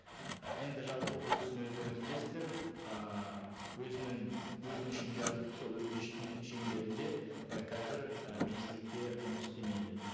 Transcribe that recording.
і енді жалпы бұл кісіні өздеріңіз білесіздер ыыы өзінің өтінішін жазып сол өтініштің шеңберінде і қазір і министрлікте жұмыс істемейді